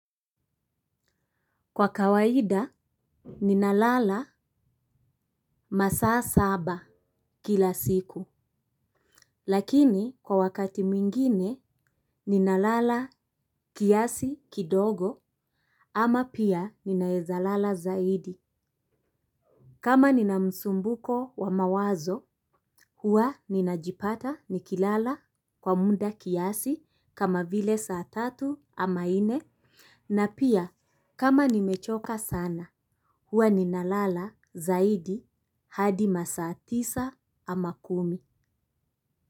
Kwa kawaida ninalala masaa saba kila siku lakini kwa wakati mwingine ninalala kiasi kidogo ama pia ninawezalala zaidi. Kama nina msumbuko wa mawazo huwa ninajipata nikilala kwa munda kiasi kama vile saa tatu ama nne na pia kama nimechoka sana huwa ni nalala zaidi hadi masaa tisa ama kumi.